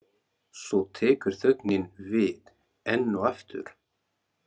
Svo tekur þögnin við, enn og aftur.